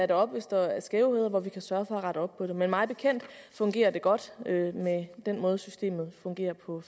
det op hvis der er skævheder og vi kan sørge for at rette op på dem men mig bekendt fungerer det godt med den måde systemet fungerer på